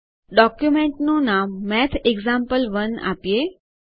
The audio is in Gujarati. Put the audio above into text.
ડોક્યુમેન્ટનું નામ MathExample1મેથએગ્ઝામ્પલ 1 આપીએ